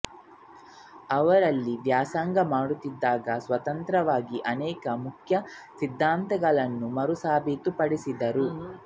ಅವರು ಅಲ್ಲಿ ವ್ಯಾಸಂಗ ಮಾಡುತ್ತಿದ್ದಾಗ ಸ್ವತಂತ್ರವಾಗಿ ಅನೇಕ ಮುಖ್ಯ ಸಿದ್ಧಾಂತಗಳನ್ನು ಮರುಸಾಬೀತು ಪಡಿಸಿದರು